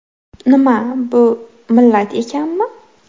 Nima, bu millat ekanmi?